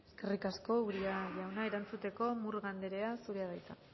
eskerrik asko uria jauna erantzuteko murga andrea zurea da hitza